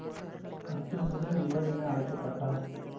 அன்று முதல் இவர் என அழைக்க பட்டார்